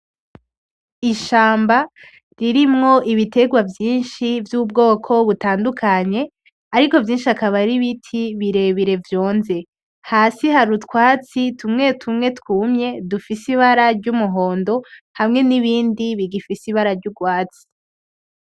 Ishamba ririmwo ibiterwa vyinshi vy'ubwoko butandukanye, ariko vyinshi bikaba ari ibiti birebire vyonze. Hasi hari utwatsi tumwe tumwe twumye dufise ibara ry'umuhondo hamwe n'ibindi bigifise ibara ry'urwatsi.